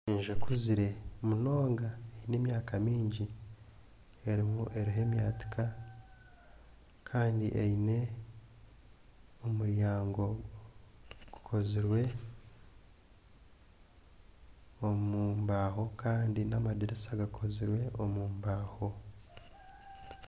Enju ekuzire munonga eine emyaka mingi eriho emyatika kandi eine omuryango gukozirwe omu mbaaho kandi n'amadiirisa gakozirwe omu mbaaho.